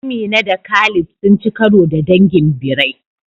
Amina da Khalid sun ci karo da dangin birai